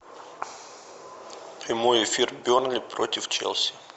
прямой эфир бернли против челси